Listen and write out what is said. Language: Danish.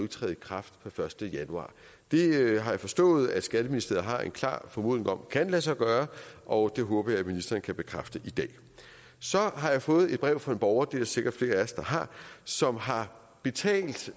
træde i kraft per første januar det har jeg forstået at skatteministeriet har en klar formodning om kan lade sig gøre og det håber jeg at ministeren kan bekræfte i dag så har jeg fået brev fra en borger det er der sikkert flere af os der har som har betalt